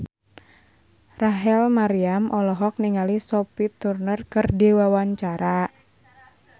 Rachel Maryam olohok ningali Sophie Turner keur diwawancara